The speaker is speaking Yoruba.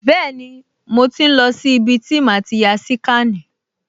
Bẹ́ẹ̀ni, mo ti ń lọ sí ibi tí màá ti ya síkànì